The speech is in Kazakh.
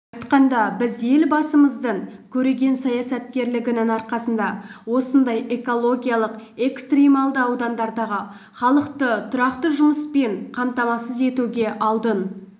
айтқанда біз елбасымыздың көреген саясаткерлігінің арқасында осындай экологиялық-экстрималды аудандардағы халықты тұрақты жұмыспен қамтамасыз етуге алдын